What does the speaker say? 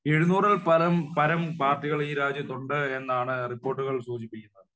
എഴുന്നൂറിൽ പരം പരം പാർട്ടികൾ ഈ രാജ്യത്തുണ്ട് എന്നാണ് റിപ്പോർട്ടുകൾ സൂചിപ്പിക്കുന്നത്